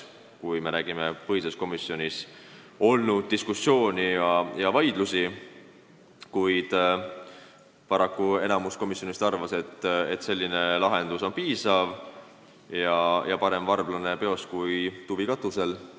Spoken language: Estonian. Kui me räägime põhiseaduskomisjonis olnud diskussioonist, siis paraku enamus arvas, et selline lahendus on piisav, sest parem varblane peos kui tuvi katusel.